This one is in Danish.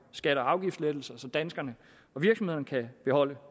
skatte og afgiftslettelser så danskerne og virksomhederne kan beholde